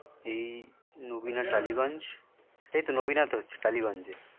এই নবীনা টালিগঞ্জ এই তো নবীণাতে হচ্ছে টালিগঞ্জ